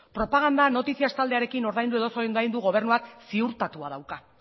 propaganda noticias taldearekin ordaindu edo ez ordaindu gobernuak ziurtatua dauka